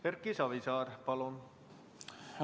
Erki Savisaar, palun!